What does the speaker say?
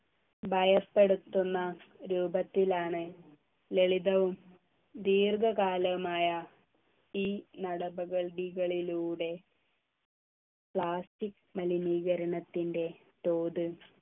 ഭയപ്പെടുത്തുന്ന രൂപത്തിലാണ് ലളിതവും ദീർഘകാലമായ ഈ നടപടികളിലൂടെ plastic മലിനീകരണത്തിൻ്റെ തോത്